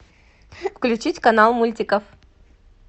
включить канал мультиков